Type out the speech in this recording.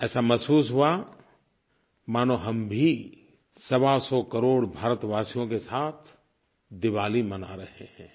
ऐसा महसूस हुआ मानो हम भी सवासौ करोड़ भारतवासियों के साथ दिवाली मना रहे हैं